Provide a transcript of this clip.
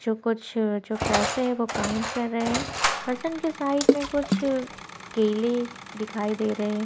जो कुछ जो पैसे हैं वह काउंट कर रहै हैं पर्सन के साइड में कुछ केले दिखाई दे रहै हैं।